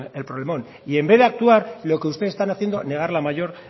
el problemón y en vez de actuar lo que ustedes están haciendo negar la mayor